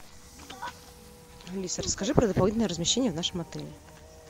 алиса расскажи про дополнительное размещение в нашем отеле